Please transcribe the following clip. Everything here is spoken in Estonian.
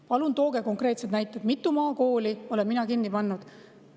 Palun tooge konkreetsed näited, mitu maakooli olen mina kinni pannud!